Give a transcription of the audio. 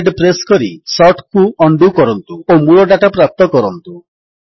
CTRLZ press କରି ସର୍ଟକୁ undo କରନ୍ତୁ ଓ ମୂଳ ଡାଟା ପ୍ରାପ୍ତ କରନ୍ତୁ